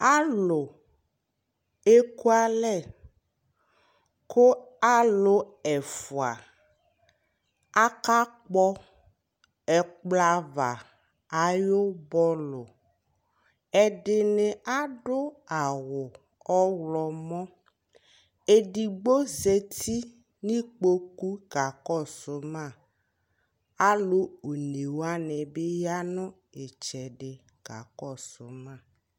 Alʋ ekualɛ: kʋ alʋ ɛfua akakpɔ ɛkplɔava ayʋ bɔlʋ ;ɛdɩnɩ adʋ awʋ ɔɣlɔmɔ Edigbo zati n'ikpoku ka kɔsʋ ma ; alʋ one wanɩ bɩ ya nʋ ɩtsɛdɩ ka kɔsʋ